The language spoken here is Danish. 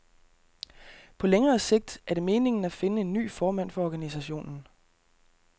På længere sigt er det meningen at finde en ny formand for organisationen.